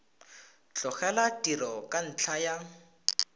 tlogela tiro ka ntlha ya